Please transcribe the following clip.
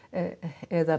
eða